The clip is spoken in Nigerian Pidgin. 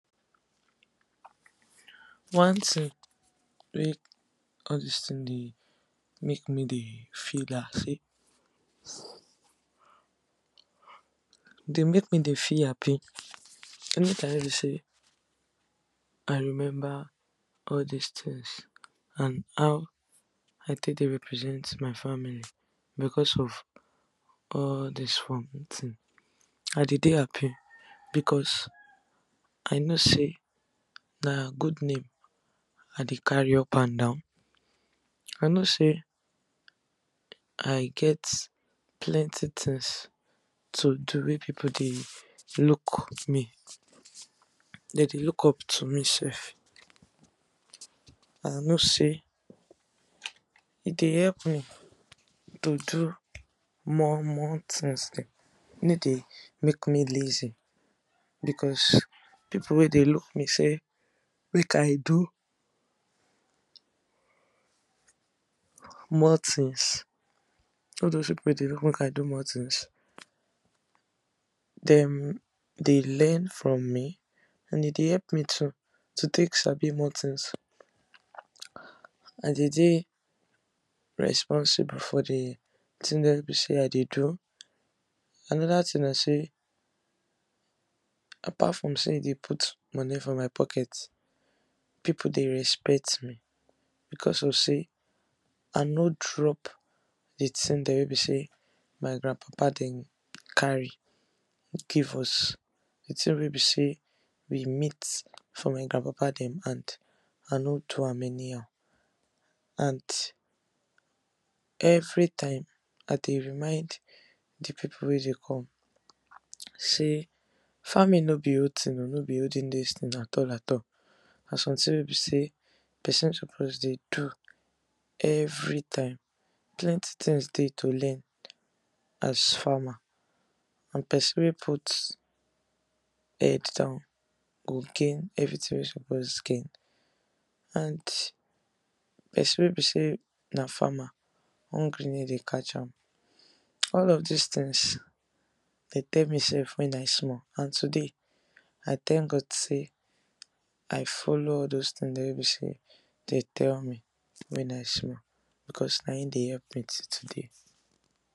One thing wey all dis thing dey make me dey feel na sey, e dey make me dey feel happy any time wey be sey I remember all dis things and how I take dey represent my family because of all dis farm thing, I dey dey happy because I know sey na good name I dey carry up and down. I know sey I get plenty things to do wey people dey look me, dem dey look up to me sef, I know sey e dey help me to do more more things dem, e no dey make me lazy because people we dey look up to me sey make I do more things, all doz people dey dey look up to me sey make I do more things dem dey learn from me and e dey help me too, to take sabi more things. I dey dey responsible for di thing dem wey be sey I dey do. Another thing na sey apart from sey e dey put money for my pocket, people dey respect me because of sey I no drop di things dem wey be sey my grnad papa dem carry give us. Di thing wey be sey we meet for my grand papa dem hand, I nor do am anyhow and every time I dey remind di people dem wey dey come sey farming no be old thing oh, no be olden days thing at all at all, na something wey be sey person suppose dey do every time plenty things dey to learn as farmer but person wey put head down, go gain everything wey e suppose gain. And person wey be sey na farmer hungry no dey catch am. All of dis things dem tell me sef wen I small and today I thank God sey I follow all doz thing dem wey be sey dem tell me wen I small, because na im dey help me today.